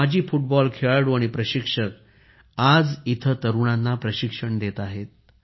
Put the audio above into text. अनेक माजी फुटबॉल खेळाडू आणि प्रशिक्षक आज येथे तरुणांना प्रशिक्षण देत आहेत